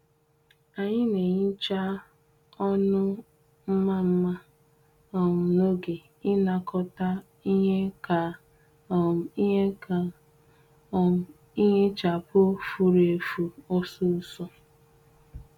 Anyị na-ehicha ọnụ mma mma um n’oge ịnakọta ihe ka um ihe ka um ihichapụ furu efu osisor